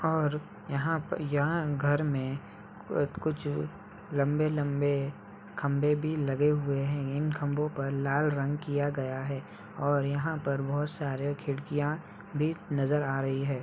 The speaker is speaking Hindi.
और यहाँ पे यहाँ घर में अ कुछ लम्बे-लम्बे खम्भे भी लगे हुए है। इन खम्बो पर लाल रंग किया गया है और यहाँ पर बोहोत सारे खड़कियाँ भी नजर आ रही है।